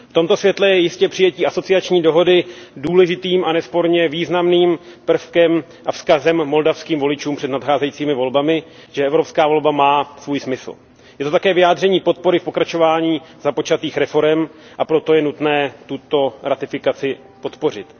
V tomto světle je jistě přijetí asociační dohody důležitým a nesporně významným prvkem a vzkazem moldavským voličům před nadcházejícími volbami, že evropská volba má svůj smysl. Je to také vyjádření podpory v pokračování započatých reforem, a proto je nutné tuto ratifikaci podpořit.